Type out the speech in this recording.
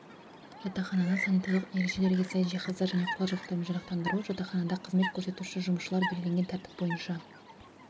жатақхананы санитарлық ережелерге сай жиһаздар және құрал жабдықтармен жарақтандыру жатақханада қызмет көрсетуші жұмысшыларды белгіленген тәртіп бойынша